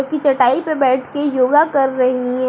की चटाई पे बैठके योगा कर रही हैं।